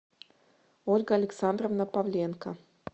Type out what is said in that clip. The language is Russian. ольга александровна павленко